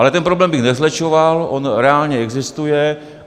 Ale ten problém bych nezlehčoval, on reálně existuje.